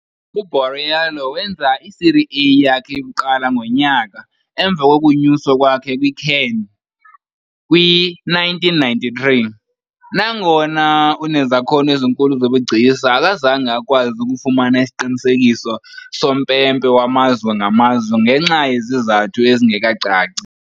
U-Borriello wenza i-Serie A yakhe yokuqala ngonyaka emva kokunyuswa kwakhe kwi-CAN, kwi -1993 . Nangona unezakhono ezinkulu zobugcisa, akazange akwazi ukufumana isiqinisekiso sompempe wamazwe ngamazwe, ngenxa yezizathu ezingekacaci.